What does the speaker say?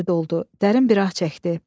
Dərin bir ah çəkdi.